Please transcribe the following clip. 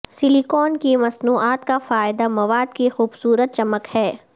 silicone کی مصنوعات کا فائدہ مواد کی خوبصورت چمک ہے